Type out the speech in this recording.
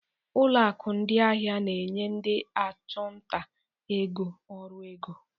Ụlọ akụ ndị ahịa na-enye ndị ọchụnta ego ọrụ ego.